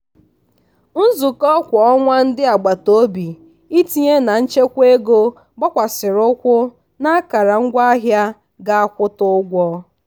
nzukọ kwa ọnwa ndị agbataobi itinye na nchekwa ego gbakwasiri ụkwụ n'akara ngwaahịa ga akwụta ụgwọ.